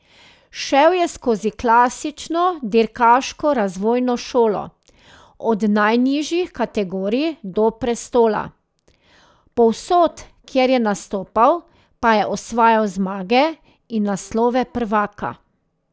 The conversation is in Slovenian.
Šel je skozi klasično dirkaško razvojno šolo, od najnižjih kategorij do prestola, povsod, kjer je nastopal, pa je osvajal zmage in naslove prvaka.